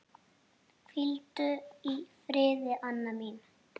Hvíldu í friði, Anna mín.